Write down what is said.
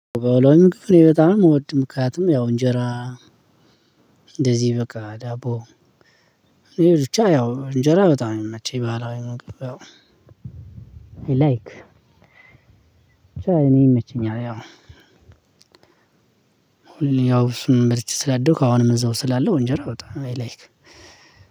ባህለዊ ምግብ እኔ በጣም እወድም ምክንያቱም ያው እንጀራ። እንደዚህ በቃ ዳቦ። እኔ ብቻ ያው እንጀራ በጣም ነው የሚመቸኝ የባህላዊ ምግብ ያው። አይ ላይክ። እኔ ይመቸኛል። ያው። ያው እሱን በልቼ ስላደውክ አሁንም እዛው ስላለው እንጀራ አዎ በጣም።